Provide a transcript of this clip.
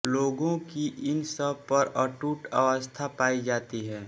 लोगों की इन सब पर अटूट आस्था पायी जाती है